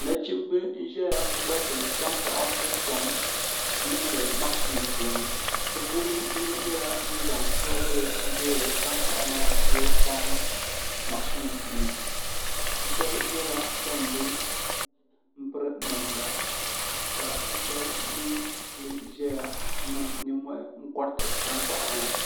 Nachimbi n ʒɛya n koriti tankpaɣu ni kom n niŋdi mashin puuni bi puuni yino nyɛla ŋun zaŋ soobuli n toori tankpaɣu maa ni o kpaai niŋ mashin ni bi shab nyɛla ban bi piri namda ka bi shab mii kuli ʒɛya niŋ nimmohi n koriti tankpaɣu ŋo